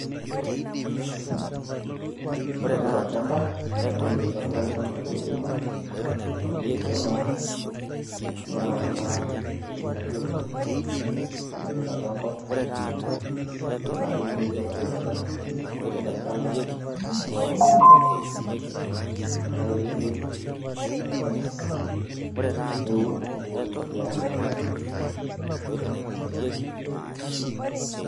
intobir olchamba ore ake pee idip aitobira olchamba nirem ore ake pee idip nipik kuna tokitin niyieu nipik, tenaa ketii inidipa aitobira nipik olchala ore ake pee idip nibukoki enkare.